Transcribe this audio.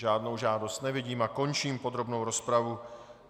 Žádnou žádost nevidím a končím podrobnou rozpravu.